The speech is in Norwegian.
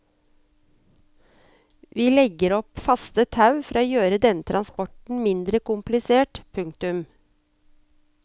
Vi vil legge opp faste tau for å gjøre denne transporten mindre komplisert. punktum